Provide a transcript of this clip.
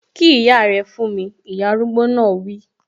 Kí ìyá rẹ fún mi! Ìyá arúgbó náà wi